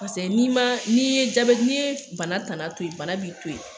Paseke n'i ma, n'i ye jabɛti n'i ye bana tana to yen, bana b'i to yen.